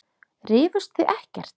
Rifust þið ekkert?